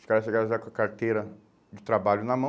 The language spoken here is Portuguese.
Os caras chegavam já com a carteira de trabalho na mão.